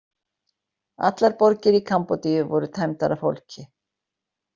Allar borgir Kambódíu voru tæmdar af fólki.